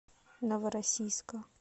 новороссийска